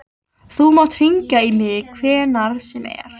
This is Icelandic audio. Þú mátt hringja í mig hvenær sem er.